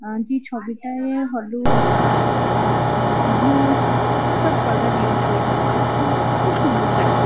আ যে ছবিটায় হলুদ আআ- ব্লু সব কালার ইউস হয়েছে। আ খুব সুন্দর লাগছে।